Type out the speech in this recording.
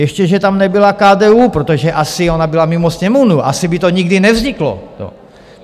Ještě že tam nebyla KDU, protože asi ona byla mimo Sněmovnu, asi by to nikdy nevzniklo.